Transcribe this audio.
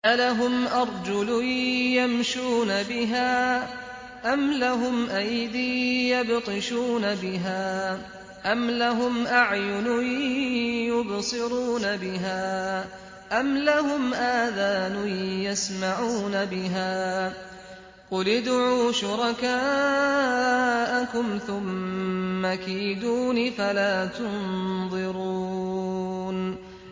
أَلَهُمْ أَرْجُلٌ يَمْشُونَ بِهَا ۖ أَمْ لَهُمْ أَيْدٍ يَبْطِشُونَ بِهَا ۖ أَمْ لَهُمْ أَعْيُنٌ يُبْصِرُونَ بِهَا ۖ أَمْ لَهُمْ آذَانٌ يَسْمَعُونَ بِهَا ۗ قُلِ ادْعُوا شُرَكَاءَكُمْ ثُمَّ كِيدُونِ فَلَا تُنظِرُونِ